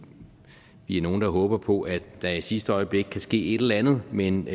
vi er nogle der håber på at der i sidste øjeblik kan ske et eller andet men